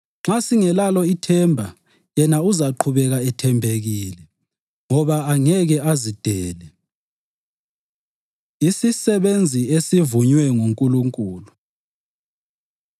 nxa singelalo ithemba yena uzaqhubeka ethembekile, ngoba angeke azidele. Isisebenzi Esivunywe NguNkulunkulu